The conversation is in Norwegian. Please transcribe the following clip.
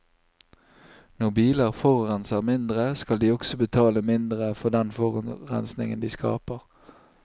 Når biler forurenser mindre, skal de også betale mindre for den forurensningen de skaper.